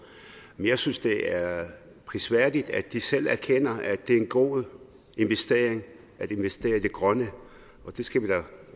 jeg synes det er prisværdigt at de selv erkender at det er en god investering at investere i det grønne det skal vi da